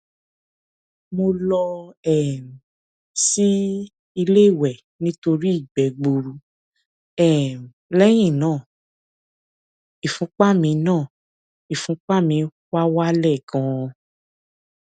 mo lọ um sí ilé ìwẹ nítorí ìgbẹ gbuuru um lẹyìn náà ìfúnpá mi náà ìfúnpá mi wá wálẹ ganan